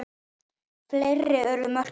Fleiri urðu mörkin ekki.